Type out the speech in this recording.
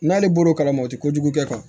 N'ale bɔr'o kalama o tɛ kojugu kɛ